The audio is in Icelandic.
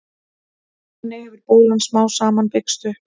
þannig hefur bólan smám saman byggst upp